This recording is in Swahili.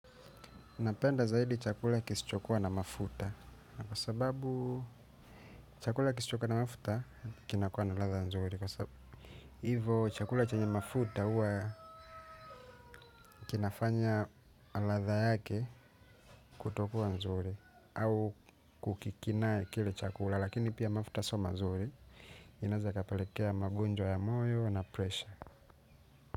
Napenda zaidi chakula kisichokuwa na mafuta na kwa sababu chakula kisichokuwa na mafuta kinakuwa na ladha nzuri. Kwa sababu chakula chanye mafuta hua kinafanya ladha yake kutokuwa nzuri. Au kukikinae kile chakula lakini pia mafuta sio mazuri. Inaeza ikapelekea magunjwa ya moyo na presha.